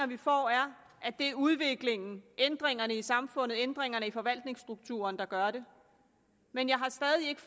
vi får er at det er udviklingen ændringerne i samfundet ændringerne i forvaltningsstrukturen der gør det men jeg har stadig ikke